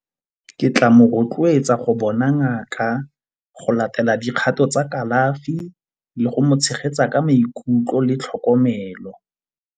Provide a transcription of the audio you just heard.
Ke tla mo rotloetsa go bona ngaka, go latela dikgato tsa kalafi le go tshegetsa ka maikutlo le tlhokomelo.